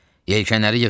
Yelkənləri yığın!